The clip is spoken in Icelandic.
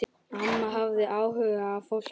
Amma hafði áhuga á fólki.